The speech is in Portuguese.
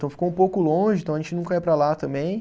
Então ficou um pouco longe, então a gente nunca ia para lá também.